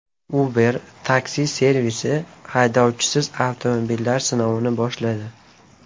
Uber taksi-servisi haydovchisiz avtomobillar sinovini boshladi.